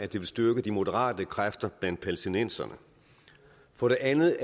det styrke de moderate kræfter blandt palæstinenserne for det andet